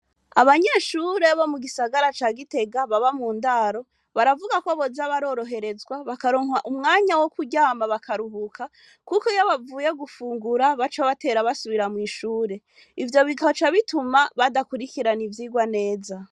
Abanyeshure bo mu gisagara ca Gitega baba mu ndaro, baravuga ko boza baroroherezwa, bakaronka umwanya wo kuryama bakaruhuka, kuko iyo bavuye gufungura baca batera basubira mw'ishure. Ivyo bigaca bituma, badakurikirana ivyigwa neza.